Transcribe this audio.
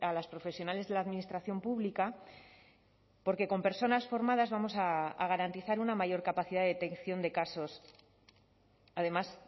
las profesionales de la administración pública porque con personas formadas vamos a garantizar una mayor capacidad de detección de casos además